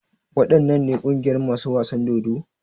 Waɗannan ne ƙungiyar masu wasan dodo?